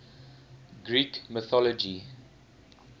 greek mythology